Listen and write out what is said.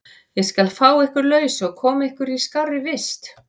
Ég skal fá ykkur laus og koma ykkur í skárri vist.